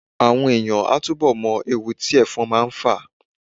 Àwọn èèyàn á túbọ̀ mọ ewu tí ẹ̀fọn máa ń fà